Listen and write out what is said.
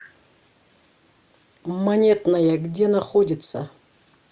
монетная где находится